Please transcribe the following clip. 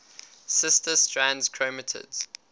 sister strands chromatids